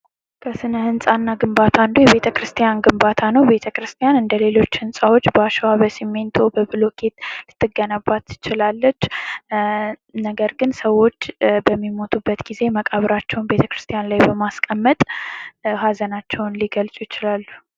ከስነህንፃ እና ግንባታ አንዱ የቤተክርስቲያን ግንባታ ነው ። ቤተክርስቲያን እንደሌሎች ህንፃዎች በአሽዋ በሲሚንቶ በቡሎኬት ልትገነባ ትችላለች። ነገር ግን ሰዎች በሚሞቱበት ጊዜ መቃብራቸውን ቤተክርስቲያን ላይ በማስቀመጥ ሀዘናችውን ሊገልፁ ይችላሉ ።